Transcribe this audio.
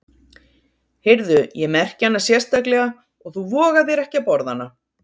Heyrðu, ég merki hana sérstaklega og þú vogar þér ekki að borða hana.